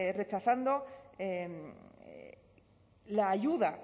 rechazando la ayuda